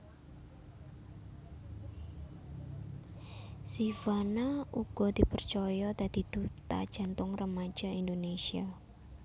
Zivanna uga dipercaya dadi duta Jantung Remaja Indonésia